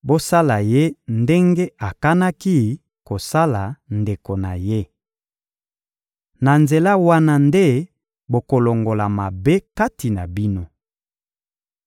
bosala ye ndenge akanaki kosala ndeko na ye. Na nzela wana nde bokolongola mabe kati na bino.